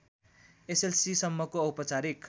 एसएलसीसम्मको औपचारिक